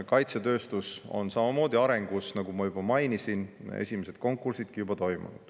Kaitsetööstus on samamoodi arengus, nagu ma juba mainisin, esimesed konkursidki juba toimunud.